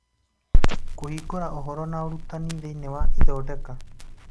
Kũhingũra Ũhoro na Ũrutani thĩinĩ wa ithondeka